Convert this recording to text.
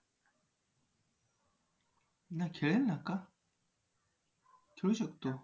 नाही खेळेल ना, का? खेळू शकतो.